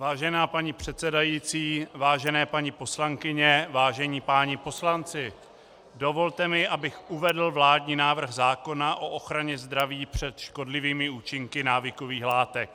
Vážená paní předsedající, vážené paní poslankyně, vážení páni poslanci, dovolte mi, abych uvedl vládní návrh zákona o ochraně zdraví před škodlivými účinky návykových látek.